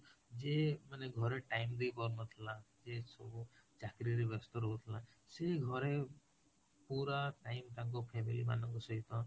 ଯିଏ ମାନେ ଘର time ଦେଇ ପାରୁନଥିଲା, ଯିଏ ସବୁ ଚାକିରୀରେ ବ୍ୟସ୍ତ ରହୁଥିଲା ସେ ଘରେ ପୁରା time ତାଙ୍କ family ମାନଙ୍କ ସହିତ